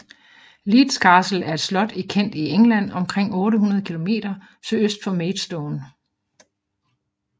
Leeds Castle er et slot i Kent i England omkring 8 km sydøst for Maidstone